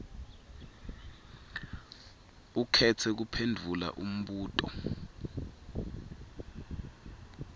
ukhetse kuphendvula umbuto